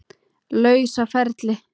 lausa ferli.